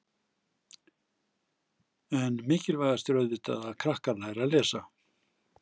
En mikilvægast er auðvitað að krakkar læri að lesa?